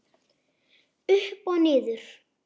Upp og niður.